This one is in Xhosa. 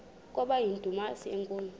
kwaba yindumasi enkulu